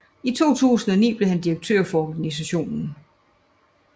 I 2009 blev han direktør for organisationen